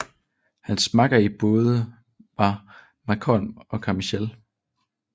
Hans makker i båden var Malcolm Carmichael